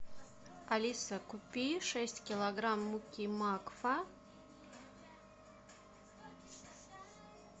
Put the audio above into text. алиса купи шесть килограмм муки макфа